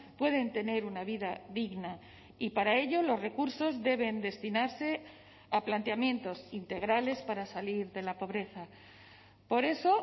pueden tener una vida digna y para ello los recursos deben destinarse a planteamientos integrales para salir de la pobreza por eso